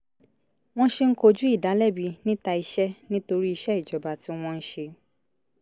wọ́n ṣe ń kojú ìdálẹ́bi níta iṣẹ́ nítorí iṣẹ́ ìjọba tí wọ́n ń ṣe